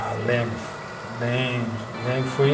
Ah, lembro, lembro, lembro, foi,